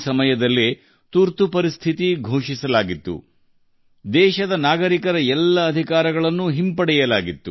ಅದರಲ್ಲಿ ದೇಶದ ನಾಗರಿಕರ ಎಲ್ಲ ಹಕ್ಕುಗಳನ್ನು ಕಸಿದುಕೊಳ್ಳಲಾಯಿತು